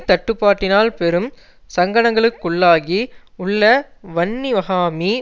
தட்டுப்பாட்டினால் பெரும் சங்கடங்களுக்குள்ளாகி உள்ள வன்னிவஹாமி